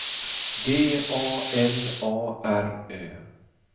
D A L A R Ö